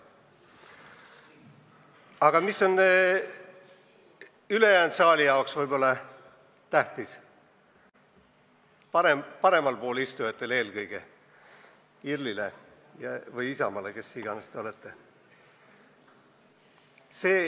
Aga mis on võib-olla ülejäänud saali jaoks tähtis, eelkõige paremal pool istujatele, IRL-ile või Isamaale, kes iganes te olete?